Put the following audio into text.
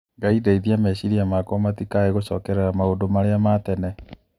Ngai ndeithia meciria makwa matikae gũcokerera maũndũ marĩa tene.